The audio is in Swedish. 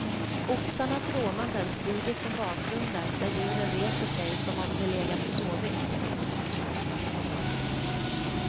Oxarnas råmanden stiger från bakgrunden, där djuren reser sig som om de legat och sovit.